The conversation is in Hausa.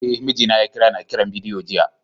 Eh, mijina ya kira ni a kiran bidiyo jiya.